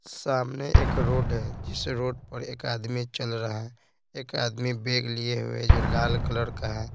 सामने एक रोड है जिस रोड पर एक आदमी चल रहा है एक आदमी बेग लिए हुए जो लाल कलर का है।